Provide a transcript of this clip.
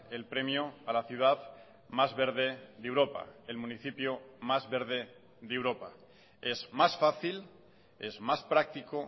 el premio a la ciudad más verde de europa el municipio más verde de europa es más fácil es más práctico